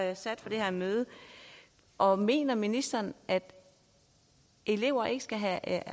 der sat for det her møde og mener ministeren at elever ikke skal have